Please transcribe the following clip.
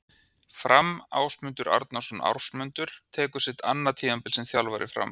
Fram- Ásmundur Arnarsson Ásmundur tekur sitt annað tímabil sem þjálfari Fram.